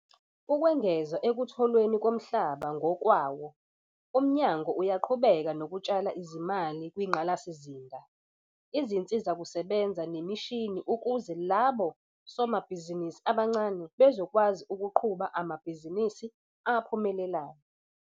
Ukwengeza ekutholweni komhlaba ngokwawo, uMnyango uyaqhubeka nokutshala izimali kwingqalasizinda, izinsizakusebenza nemishini ukuze labo somabhizinisi abancane bezokwazi ukuqhuba amabhizinisi aphumelelayo.